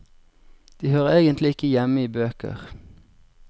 De hører egentlig ikke hjemme i bøker.